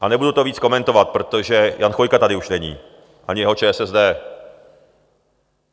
A nebudu to víc komentovat, protože Jan Chvojka tady už není, ani jeho ČSSD.